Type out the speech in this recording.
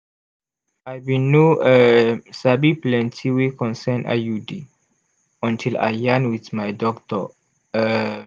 i bin no um sabi plenti wey concern iud until i yarn wit my doctor um